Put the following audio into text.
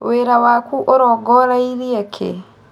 Wĩra waku ũrongoreirie kĩĩ?